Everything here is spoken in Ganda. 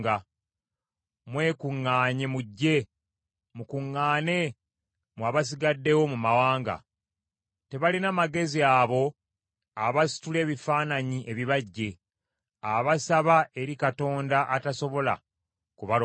“Mwekuŋŋaanye mujje, mukuŋŋaane, mmwe abasigaddewo mu mawanga. Tebalina magezi abo abasitula ebifaananyi ebibajje, abasaba eri katonda atasobola kubalokola.